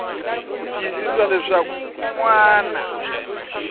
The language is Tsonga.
ku tiyisisa leswaku un wana